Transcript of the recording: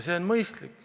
See on mõistlik.